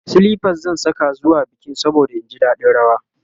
silifas zan Saka zuwa bikin saboda in ji daɗin rawa